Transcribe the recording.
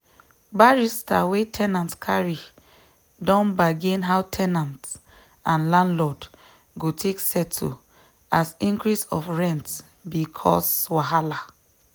barrister wey ten ant carry don bargain how ten ant and landlord go take settle as increase of rent be cause wahala